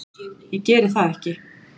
Ég geri það ekki.